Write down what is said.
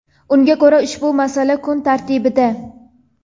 Unga ko‘ra, ushbu masala kun tartibida.